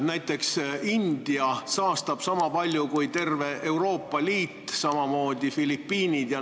Näiteks saastab India niisama palju kui terve Euroopa Liit, samamoodi Filipiinid.